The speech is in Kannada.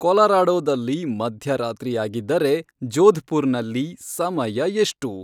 ಕೊಲರಾಡೋದಲ್ಲಿ ಮಧ್ಯರಾತ್ರಿ ಯಾಗಿದ್ದರೆ ಜೋಧ್ಪುರ್ನಲ್ಲಿ ಸಮಯ ಎಷ್ಟು